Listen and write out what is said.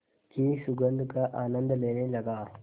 की सुगंध का आनंद लेने लगा